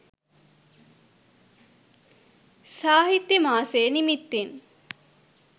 සාහිත්‍ය මාසෙ නිමිත්තෙන්